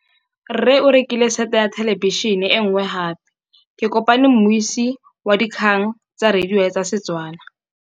Rre o rekile sete ya thêlêbišênê e nngwe gape. Ke kopane mmuisi w dikgang tsa radio tsa Setswana.